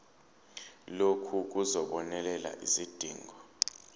lokhu kuzobonelela izidingo